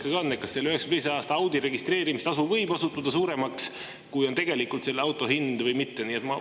Kas selle 1992. aasta Audi registreerimise tasu võib osutuda suuremaks, kui on tegelikult selle auto hind, või mitte?